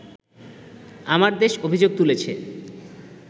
‘আমার দেশ’ অভিযোগ তুলেছে